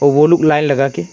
ओ लोग लाइन लगा के--